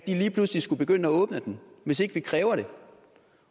lige pludselig skulle begynde at åbne den hvis ikke vi kræver det